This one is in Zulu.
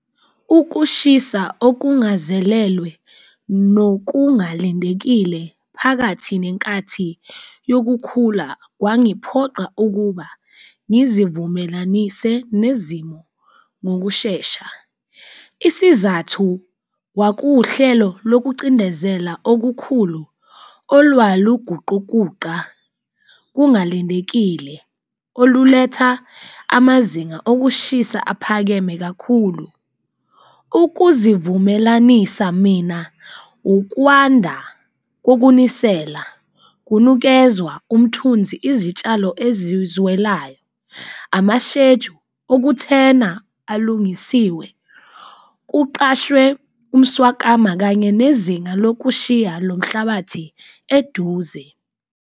Ukushisa okungazelelwe nokungalindekile phakathi nenkathi yokukhula kwangiphoqa ukuba ngizivumelanise nezimo ngokushesha, isizathu wakuwuhlelo lokucindezela okukhulu olwaluguqukuqa kungalindekile oluletha amazinga okushisa aphakeme kakhulu. Ukuzivumelanisa mina? Ukwanda kokunisela kunikezwa umthunzi izitshalo ezizwe elayo. Amashejuli lo okuthenda ayilungisiwe kuqashwe umswakama, kanye nezinga lokushisa lo mhlabathi eduze lo.